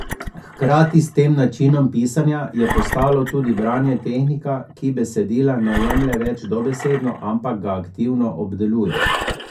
Hkrati s tem načinom pisanja je postalo tudi branje tehnika, ki besedila ne jemlje več dobesedno, ampak ga aktivno obdeluje.